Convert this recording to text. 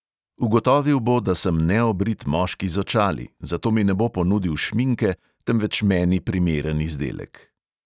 Ugotovil bo, da sem neobrit moški z očali, zato mi ne bo ponudil šminke, temveč meni primeren izdelek.